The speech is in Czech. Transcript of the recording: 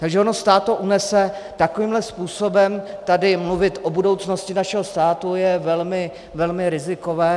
Takže ono stát to unese - takovýmhle způsobem tady mluvit o budoucnosti našeho státu je velmi, velmi rizikové.